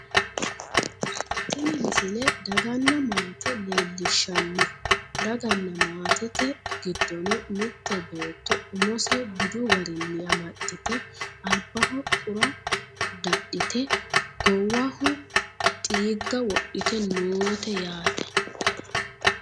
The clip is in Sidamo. tini misile daganna maate leellishshanno daganna maatete gidono mitte beetto umose budu garinni amaxxite albaho qurra dadhite goowaho diigga wodhite noote yaate